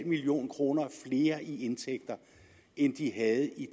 million kroner mere i indtægt end de havde i